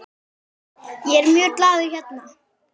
Ég er mjög glaður hérna.